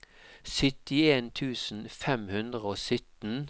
syttien tusen fem hundre og sytten